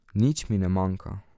Nič mi ne manjka.